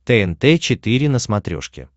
тнт четыре на смотрешке